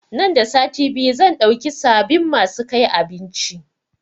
Nan da sati biyu zan dauki sabin masu kai abinci